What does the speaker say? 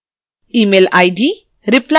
email id